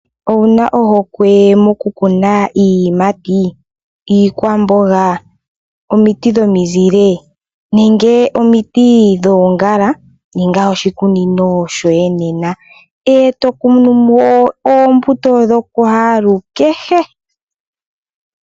Owuna ohokwe moku kuna iiyimati, iikwamboga, omiti dhomizile, nenge omiti dhoongala? Ninga oshikunino shoye nena eto kunumo oombuto dho kwaalukehe.